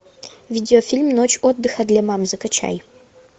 видеофильм ночь отдыха для мам закачай